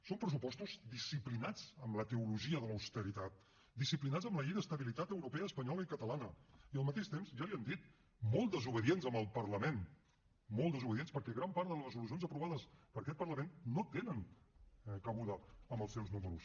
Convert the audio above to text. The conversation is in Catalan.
són pressupostos disciplinats amb la teologia de l’austeritat disciplinats amb la llei d’estabilitat europea espanyola i catalana i al mateix temps ja li ho han dit molt desobedients amb el parlament molt desobedients perquè gran part de les resolucions aprovades per aquest parlament no tenen cabuda en els seus números